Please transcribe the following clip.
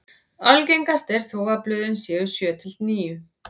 Algengast er þó að blöðin séu sjö til níu.